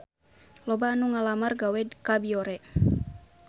Loba anu ngalamar gawe ka Biore